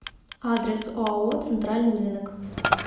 адрес оао центральный рынок